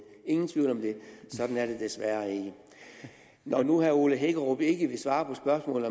ingen tvivl om det sådan er det desværre ikke når nu herre ole hækkerup ikke vil svare på spørgsmålet